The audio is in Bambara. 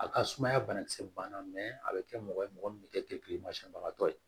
A ka sumaya banakisɛ banna mɛ a bɛ kɛ mɔgɔ ye mɔgɔ min bɛ kɛ kilimasiyɛnbagatɔ ye